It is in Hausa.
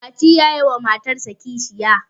mati ya yi wa matarsa kishiyar